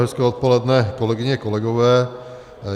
Hezké odpoledne, kolegyně, kolegové.